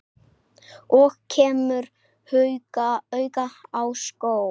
Og kemur auga á skó.